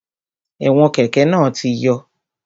Ẹ̀wọn kẹ́kẹ̀ náà ti yọ